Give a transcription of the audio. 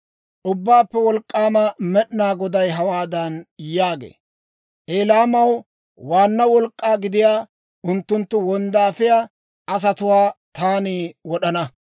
Ubbaappe Wolk'k'aama Med'inaa Goday hawaadan yaagee; «Elaamaw waanna wolk'k'aa gidiyaa unttunttu wonddaafiyaa asatuwaa taani wod'ana.